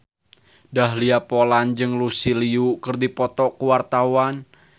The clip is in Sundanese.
Dahlia Poland jeung Lucy Liu keur dipoto ku wartawan